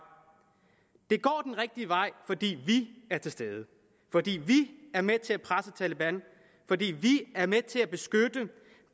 det går den rigtige vej fordi vi er til stede fordi vi er med til at presse taleban fordi vi